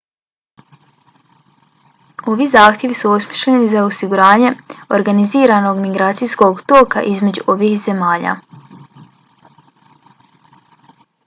ovi zahtjevi su osmišljeni za osiguranje organiziranog migracijskog toka između ovih zemalja